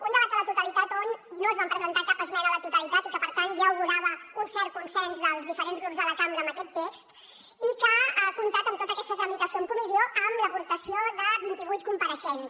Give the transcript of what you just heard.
un debat a la totalitat on no es va presentar cap esmena a la totalitat i que per tant ja augurava un cert consens dels diferents grups de la cambra amb aquest text i que ha comptat amb tota aquesta tramitació en comissió amb l’aportació de vint i vuit compareixents